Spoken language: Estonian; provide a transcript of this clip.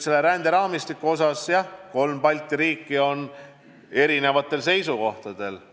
Ränderaamistiku osas pole kolm Balti riiki tõesti ühesugustel seisukohtadel.